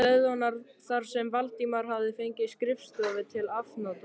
stöðvarinnar þar sem Valdimar hafði fengið skrifstofu til afnota.